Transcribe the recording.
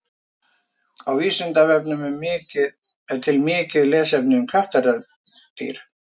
Á Vísindavefnum er til mikið lesefni um kattardýr.